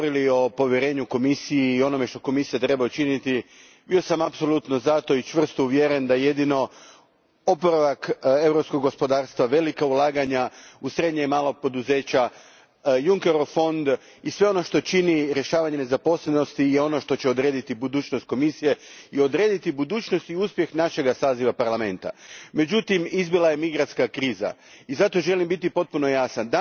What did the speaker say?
Gospodine predsjedniče, kada sam prije godinu dana, kada smo govorili o povjerenju Komisiji i onome što Komisija treba učiniti, bio sam apsolutno za to i čvrsto uvjeren da su jedino oporavak europskog gospodarstva, velika ulaganja u srednja i mala poduzeća, Junckerov fond i sve ono što čini rješavanje nezaposlenosti ono što će odrediti budućnost Komisije i odrediti budućnost i uspjeh našega saziva Parlamenta. Međutim, izbila je migrantska kriza i zato želim biti potpuno jasan.